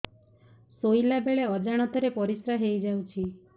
ଶୋଇଲା ବେଳେ ଅଜାଣତ ରେ ପରିସ୍ରା ହେଇଯାଉଛି